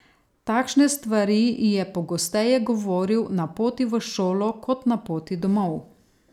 Takšne stvari ji je pogosteje govoril na poti v šolo kot na poti domov.